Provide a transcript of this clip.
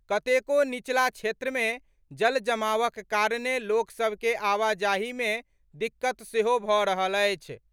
कतेको नीचला क्षेत्र मे जल जमावक कारणे लोक सभ के आवाजाही मे दिक्कत सेहो भऽ रहल अछि।